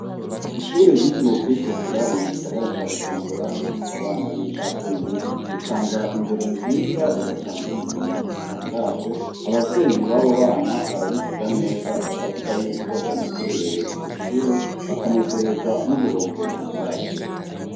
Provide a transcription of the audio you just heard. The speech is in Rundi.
Ishure ryitiriwe kwikukira riri mugisagara ca bujumbura rifise abana b’incabwenge ritanga indero nziza rigatanga ubumenyi butangaje, abavyeyi babo bana barabivuga neza bakavuga yuko banezererewe iryoshure bakanezerwa n’uburongozi bwaryo.